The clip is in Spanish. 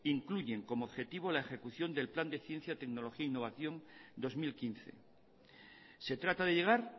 incluyen como objetivo la ejecución del plan de ciencia tecnología e innovación dos mil quince se trata de llegar